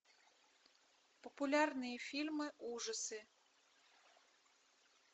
популярные фильмы ужасы